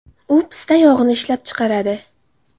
U pista yog‘ini ishlab chiqaradi.